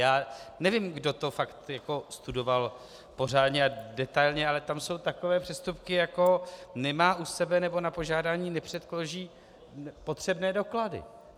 Já nevím, kdo to fakt studoval pořádně a detailně, ale tam jsou takové přestupky, jako "nemá u sebe nebo na požádání nepředloží potřebné doklady".